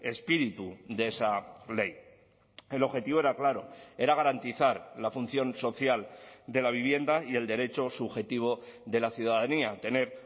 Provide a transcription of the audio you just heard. espíritu de esa ley el objetivo era claro era garantizar la función social de la vivienda y el derecho subjetivo de la ciudadanía a tener